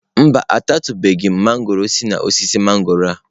Mba,a tatụbeghi m mangọrọ si n'osisi mangọrọ a.